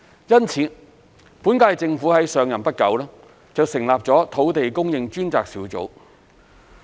因此，本屆政府上任不久，便成立了土地供應專責小組。